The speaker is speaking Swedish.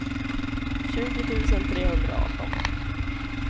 tjugo tusen trehundraarton